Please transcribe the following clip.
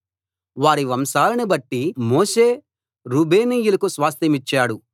వారి వంశాలను బట్టి మోషే రూబేనీయులకు స్వాస్థ్యమిచ్చాడు